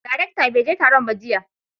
daraktan baije Taron ba jiya.